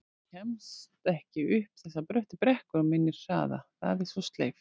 Ég kemst ekki upp þessar bröttu brekkur á minni hraða, það er svo sleipt